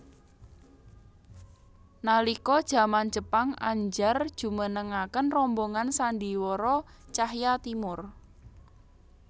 Nalika jaman Jepang Andjar njumenengaken rombongan sandhiwara Tjahja Timoer